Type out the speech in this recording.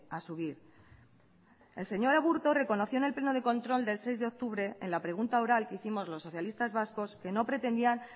a subir el señor aburto reconoció en el pleno de control del seis de octubre en la pregunta oral que hicimos los socialistas vascos que no pretendían